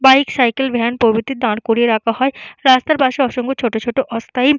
bike cycle van প্রভৃতি দাঁড় করিয়ে রাখা হয় রাস্তার পাশে অসংখ্য ছোট ছোট অস্থায়ী--